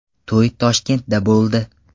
To‘y Toshkentda bo‘ldi.